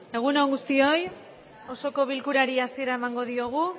egun on guztioi osoko bilkurari hasiera emango diogu